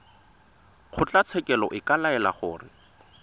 kgotlatshekelo e ka laela gore